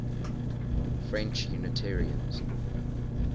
french unitarians